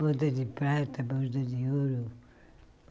Boda de prata, boda de ouro.